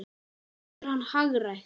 Getur hann hagrætt?